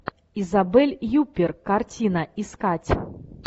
изабель юппер картина искать